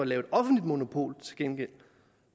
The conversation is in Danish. laver et offentligt monopol